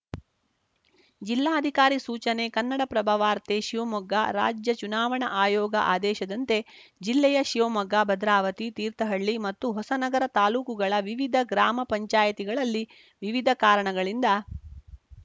ಜಿಲ್ಲಾಧಿಕಾರಿ ಸೂಚನೆ ಕನ್ನಡಪ್ರಭ ವಾರ್ತೆ ಶಿವಮೊಗ್ಗ ರಾಜ್ಯ ಚುನಾವಣಾ ಆಯೋಗ ಆದೇಶದಂತೆ ಜಿಲ್ಲೆಯ ಶಿವಮೊಗ್ಗ ಭದ್ರಾವತಿ ತೀರ್ಥಹಳ್ಳಿ ಮತ್ತು ಹೊಸನಗರ ತಾಲೂಕುಗಳ ವಿವಿಧ ಗ್ರಾಮ ಪಂಚಾಯತಿಗಳಲ್ಲಿ ವಿವಿಧ ಕಾರಣಗಳಿಂದ